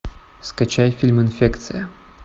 скачай фильм инфекция